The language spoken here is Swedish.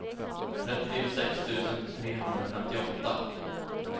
trettiosex tusen trehundrafemtioåtta